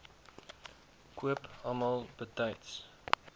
koop almal betyds